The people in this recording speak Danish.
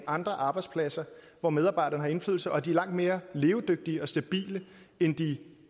andre arbejdspladser hvor medarbejderne har indflydelse og de er langt mere levedygtige og stabile end de